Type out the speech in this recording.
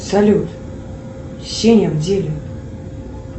салют сеня в деле